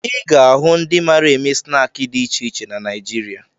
Ị ga-ahụ ndị mara eme snaakị dị iche iche na Naịjirịa